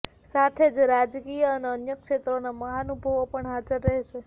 સાથે જ રાજકીય અને અન્ય ક્ષેત્રોના મહાનુભવો પણ હાજર રહેશે